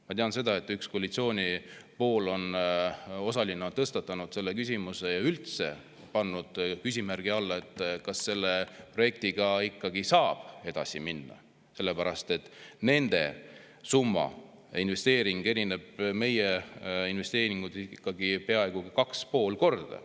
Ma tean, et üks koalitsiooni osaline on tõstatanud selle küsimuse ja üldse pannud küsimärgi alla, kas selle projektiga saab edasi minna, sest nende investeering erineb meie investeeringust ikkagi peaaegu 2,5 korda.